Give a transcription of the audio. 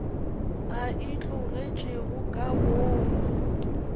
a e tlogetšego ka boomo